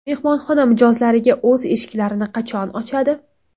Mehmonxona mijozlariga o‘z eshiklarini qachon ochadi?